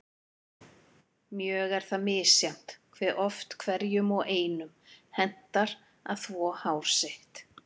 Mjög er það misjafnt hve oft hverjum og einum hentar að þvo hár sitt.